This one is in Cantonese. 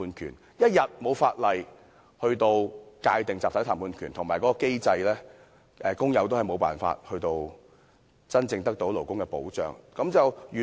所以，香港一日未有法例及機制界定集體談判權，工友也是無法真正得到勞工保障。